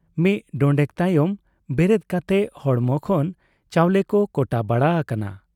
ᱢᱤᱫ ᱰᱚᱸᱰᱮᱠ ᱛᱟᱭᱚᱢ ᱵᱮᱨᱮᱫ ᱠᱟᱛᱮ ᱦᱚᱲᱢᱚ ᱠᱷᱚᱱ ᱪᱟᱣᱞᱮ ᱠᱚ ᱠᱚᱴᱟ ᱵᱟᱲᱟ ᱟᱠᱟᱱᱟ ᱾